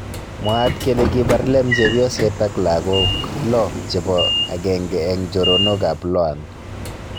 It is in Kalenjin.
Mwaat kele kibar Lem chepyoset ak lagook lo chebo agenge eng choronok ab Loan